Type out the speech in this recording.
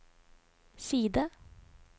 side